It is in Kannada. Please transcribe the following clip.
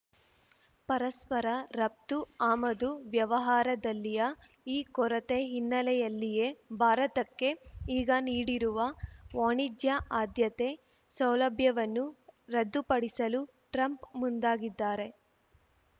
ಪರಸ್ಪರ ರಫ್ತು ಆಮದು ವ್ಯವಹಾರದಲ್ಲಿಯ ಈ ಕೊರತೆ ಹಿನ್ನೆಲೆಯಲ್ಲಿಯೇ ಭಾರತಕ್ಕೆ ಈಗ ನೀಡಿರುವ ವಾಣಿಜ್ಯ ಆದ್ಯತೆ ಸೌಲಭ್ಯವನ್ನು ರದ್ದುಪಡಿಸಲು ಟ್ರಂಪ್ ಮುಂದಾಗಿದ್ದಾರೆ